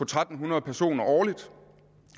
tre hundrede personer årligt